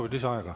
Palju?